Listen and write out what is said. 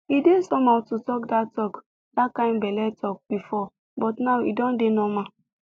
e dey somehow to talk that talk that kind belle talk before but now e don dey normal